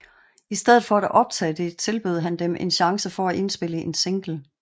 I stedet for at optage det tilbød han dem en chance til at indspille en single